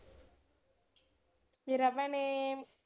ਮੇਰਾ ਭੈਣੇ,